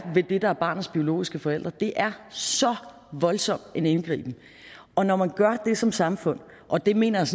ved det der er barnets biologiske forældre det er så voldsom en indgriben og når man gør det som samfund og det mener jeg